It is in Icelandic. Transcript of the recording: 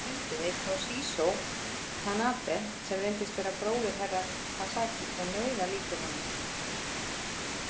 Þar fundum við Toshizo Tanabe sem reyndist vera bróðir Herra Takashi og nauðalíkur honum.